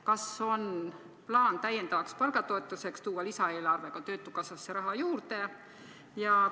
Kas on plaan täiendavaks palgatoetuseks tuua lisaeelarvega töötukassasse raha juurde?